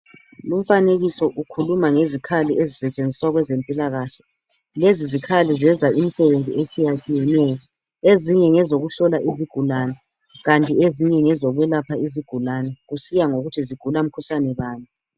Lumfanekiso ukhuluma ngezikhali ezisetshenziswa kwezempilakahle, lezi zikhali zenza imsebenzi etshiyatshiyeneyo, ezinye ngezokuhlola izigulani kanti ezinye ngezokwelapha izigulani kusiya ngokuthi zigula mkhuhlani bani.